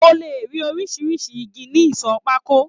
O le rí oríṣiríṣi ìgi ní ìsọ pákó.